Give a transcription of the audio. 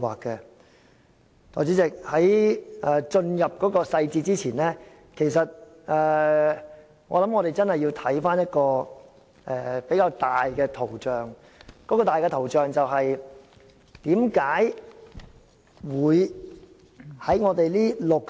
代理主席，在進入細節前，我認為我們要看看一個大圖像，該大圖像便是為何在這65